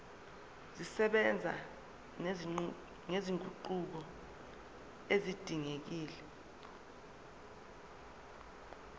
zisebenza nezinguquko ezidingekile